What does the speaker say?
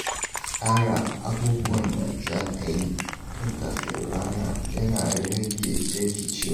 Tsara abubuwan da za a yi tun kafin fara rana yana rage rikicewa.